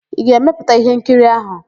Ị ga-emepụta íhénkiri áhụ̀?